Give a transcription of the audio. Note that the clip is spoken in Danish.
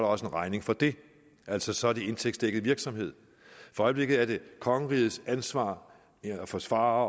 også en regning for det altså så er det indtægtsdækket virksomhed for øjeblikket er det kongerigets ansvar at forsvare